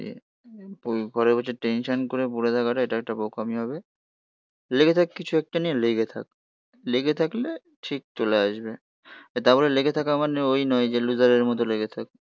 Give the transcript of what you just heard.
ঘরে বসে টেনশন করে পরে থাকাটা এটা একটা বোকামি হবে. লেগে থাক কিছু একটা নিয়ে লেগে থাক লেগে থাকলে ঠিক চলে আসবে. তা বলে লেগে থাকা মানে ওই নয় যে লুজারের মতো লেগে থাক.